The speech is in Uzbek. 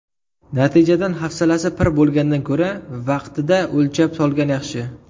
Natijadan hafsala pir bo‘lgandan ko‘ra, vaqtida o‘lchab solgan yaxshi.